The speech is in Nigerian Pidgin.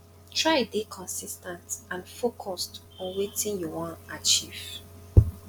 try de consis ten t and focused on wetin you won achieve